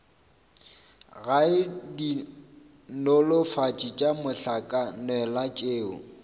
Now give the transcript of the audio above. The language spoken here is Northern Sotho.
gae dinolofatši tša mohlakanelwa tšeo